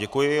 Děkuji.